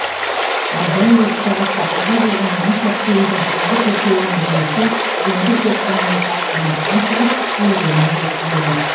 ал дәл осы сағатта қаза болған он үш әскеридің соңғы төртеуінің денесі гендік зертхананың сараптамасынан шығып елдеріне жеткізілді